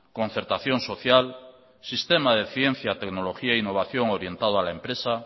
concertación social sistema de ciencia tecnología e innovación orientado a la empresa